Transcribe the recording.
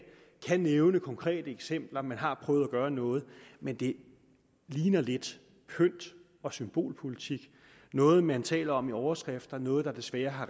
nævner konkrete eksempler man har prøvet at gøre noget men det ligner lidt pynt og symbolpolitik noget man taler om i overskrifter noget der desværre har